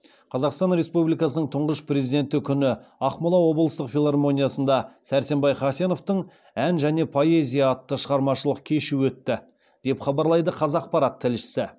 қазақстан республикасының тұңғыш президенті күні ақмола облыстық филармониясында сәрсенбай хасеновтың ән және поэзия атты шығармашылық кеші өтті деп хабарлайды қазақпарат тілшісі